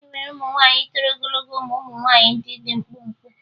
E nwere ụmụ nwaanyị toro ogologo ma ụmụ nwaanyị dị mkpụmkpụ